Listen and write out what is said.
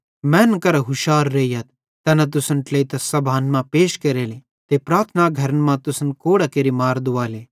मैनन् करां हुशार रेइयथ तैना तुसन ट्लेइतां आदालतन मां पैश केरेले ते प्रार्थना घरन मां तुसन कोड़ां केरि मार दुवाले